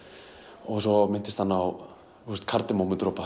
og svo minntist hann á